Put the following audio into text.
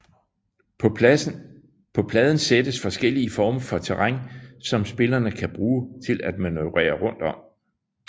På pladen sættes forskellige former for terræn som spillerne kan bruge til at manøvrere rundt om